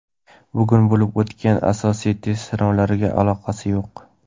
bugun bo‘lib o‘tgan asosiy test sinovlariga aloqasi yo‘q.